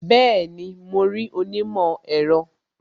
Bẹẹni, mo rí onímọ̀ ẹ̀rọ